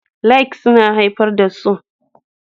Likes suna haifar da so